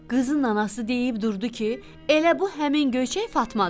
Qızın anası deyib durdu ki, elə bu həmin Göyçək Fatmadır.